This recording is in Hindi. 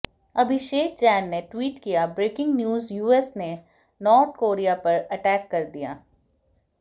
अभिषेक जैन ने ट्वीट किया ब्रेकिंग न्यूज यूएस ने नॉर्ड कोरिया पर अटैक कर दिया